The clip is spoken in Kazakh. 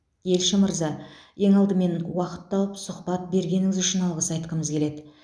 елші мырза ең алдымен уақыт тауып сұхбат бергеніңіз үшін алғыс айтқымыз келеді